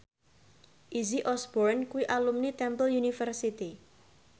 Izzy Osborne kuwi alumni Temple University